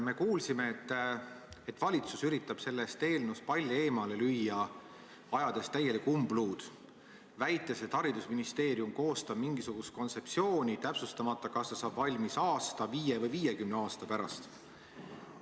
Me kuulsime, et valitsus üritab selle eelnõu puhul palli eemale lüüa, ajades täielikku umbluud, väites, et haridusministeerium koostab mingisugust kontseptsiooni, aga ei täpsustata, kas see saab valmis aasta, viie või viiekümne aasta pärast.